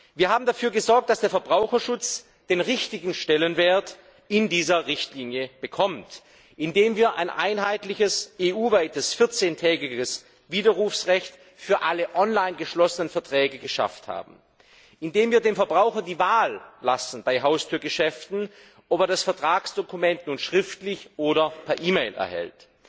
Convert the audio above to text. Wir haben dafür gesorgt, dass der Verbraucherschutz den richtigen Stellenwert in dieser Richtlinie bekommt, indem wir ein einheitliches, EU weites vierzehntägiges Widerrufsrecht für alle online geschlossenen Verträge geschaffen haben, indem wir dem Verbraucher bei Haustürgeschäften die Wahl lassen, ob er das Vertragsdokument nun schriftlich oder per E Mail erhält,